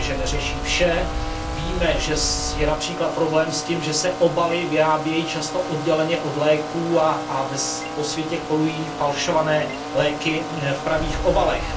Víme, že neřeší vše, víme, že je například problém s tím, že se obaly vyrábějí často odděleně od léků a po světě kolují falšované léky v pravých obalech.